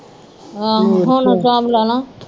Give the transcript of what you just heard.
ਆਹ ਹੁਣ ਹਸਾਬ ਲਾਲਾ